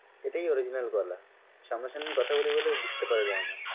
সেটাই original গলা সামনা সামনি কথা বলি বলে বুঝতে পারা যায়না।